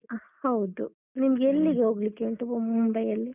ಹ ಹೌದು. ನಿಮ್ಗೆಲ್ಲಿಗೆ ಹೋಗ್ಲಿಕ್ಕೆ ಉಂಟು ಮುಂಬೈಯಲ್ಲಿ?